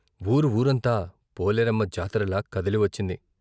వూరు వూరంతా పోలేరమ్మ జాతరలా కదిలి వచ్చింది.